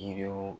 Yiriw